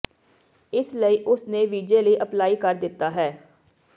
ਇਸ ਲਈ ਉਸ ਨੇ ਵੀਜ਼ੇ ਲਈ ਅਪਲਾਈ ਕਰ ਦਿੱਤਾ ਹੈ